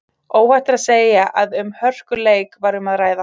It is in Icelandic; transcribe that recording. Óhætt er að segja að um hörkuleik var um að ræða.